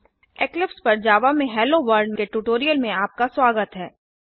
Eclipse पर Java में hello world के ट्यूटोरियल में आपका स्वागत हैं